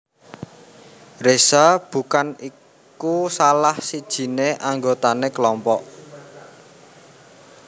Reza bukan iku salah sijiné anggotané kelompok